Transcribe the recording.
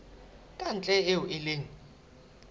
ka ntle eo e leng